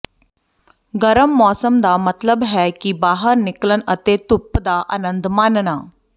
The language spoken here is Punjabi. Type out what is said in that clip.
ਗਰਮ ਮੌਸਮ ਦਾ ਮਤਲਬ ਹੈ ਕਿ ਬਾਹਰ ਨਿਕਲਣ ਅਤੇ ਧੁੱਪ ਦਾ ਆਨੰਦ ਮਾਣਨਾ